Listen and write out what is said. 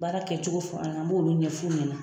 Baara kɛcogo fɔ an na an b'olu ɲɛf'u ɲɛna